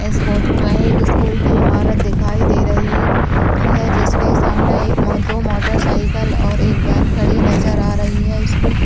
इस फोटो में एक स्कूल की इमारत दिखाई दे रही है जिसके सामने एक दो मोटरसाइकिल और एक वैन खड़ी नजर आ रही है इसको --